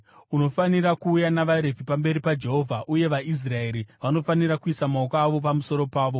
Unofanira kuuya navaRevhi pamberi paJehovha, uye vaIsraeri vanofanira kuisa maoko avo pamusoro pavo.